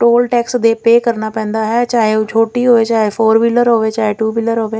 Toll tax ਤੇ pay ਕਰਨਾ ਪੈਂਦਾ ਹੈ ਚਾਹੇ ਉਹ ਛੋਟੀ ਹੋਏ ਚਾਹੇ ਫੌਰ ਵੀਲਰ ਹੋਵੇ ਚਾਹੇ ਟੂ ਵੀਲਰ ਹੋਵੇ।